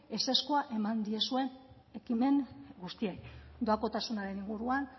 ezezkoa eman diezuen ekimen guztiei doakotasunaren inguruan